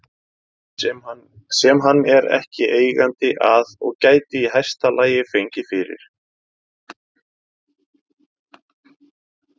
sem hann er ekki eigandi að og gæti í hæsta lagi fengið fyrir